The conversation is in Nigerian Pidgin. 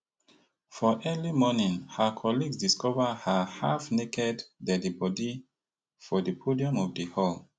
for early morning her colleagues discover her halfnaked deadi body for di podium of di hall